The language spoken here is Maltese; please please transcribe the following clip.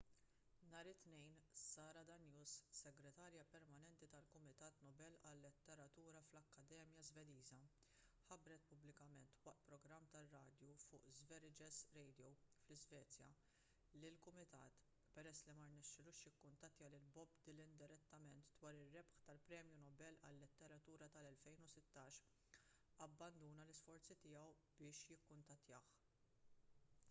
nhar it-tnejn sara danius segretarja permanenti tal-kumitat nobel għal-letteratura fl-akkademja żvediża ħabbret pubblikament waqt programm tar-radju fuq sveriges radio fl-iżvezja li l-kumitat peress li ma rnexxielux jikkuntattja lil bob dylan direttament dwar ir-rebħ tal-premju nobel għal-letteratura tal-2016 abbanduna l-isforzi tiegħu biex jikkuntattjah